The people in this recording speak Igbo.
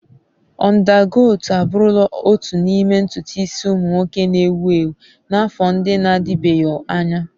Ọndakọt abụrụla otu n'ime ntutu isi ụmụ nwoke na-ewu ewu n'afọ ndị na-adịbeghị anya.